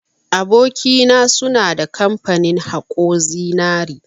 Aboki na, suna da kamfani haƙo zinari.